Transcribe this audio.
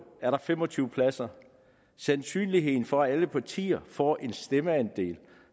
er der fem og tyve pladser sandsynligheden for at alle partier får en stemmeandel